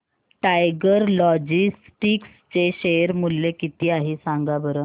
tiger Logistics चे share मूल्य किती आहे सांगा बरं